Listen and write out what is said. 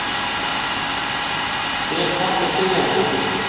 spyr pabbi biðjandi.